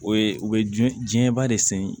O ye u bɛ jɛn diɲɛ ba de sen